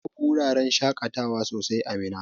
Babu wuraran shaƙatawa sosai a Minna.